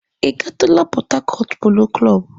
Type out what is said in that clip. Ị gatụla Pọt Hakọt Polo Klọb?